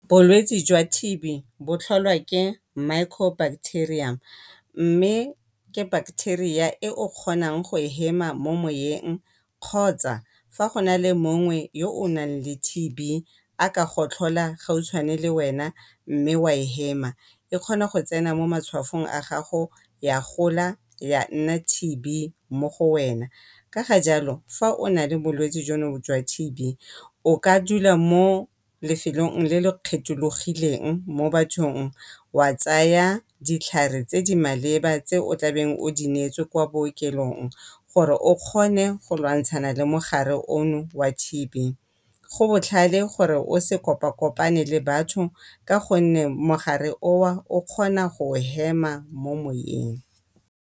Bolwetsi jwa T_B bo tlholwa ke micro-bacteria mme ke bacteria e o kgonang go e hema mo moeng kgotsa fa go na le mongwe o naleng T_B a ka gotlhola gautshwane le wena mme wa e hema. E kgona go tsena mo matshwafong a gago ya gola ya nna T_B mo go wena. Ka ga jalo fa o na le bolwetsi jono jwa T_B o ka dula mo lefelong le le kgethologileng mo bathong. Wa tsaya ditlhare tse di maleba tse o tlabeng o di neetswe kwa bookelong gore o kgone go lwantshana le mogare ono wa T_B. Go botlhale gore o se kopa-kopane le batho ka gonne mogare oo o kgona go o hema mo moweng.